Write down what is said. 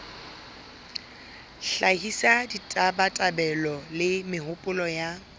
hlahisa ditabatabelo le mehopolo ya